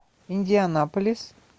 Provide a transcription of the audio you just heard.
индианаполис